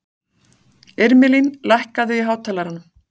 Irmelín, lækkaðu í hátalaranum.